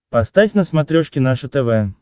поставь на смотрешке наше тв